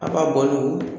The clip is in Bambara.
A b'a bɔ n'o ye